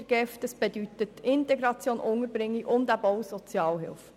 Dies bedeutet Integration, Unterbringung und Sozialhilfe.